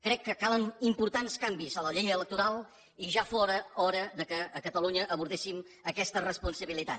crec que calen importants canvis a la llei electoral i ja fóra hora que a catalunya abordéssim aquesta responsa bilitat